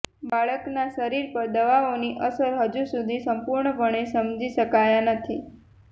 બાળકના શરીર પર દવાઓની અસર હજુ સુધી સંપૂર્ણપણે સમજી શકાયા નથી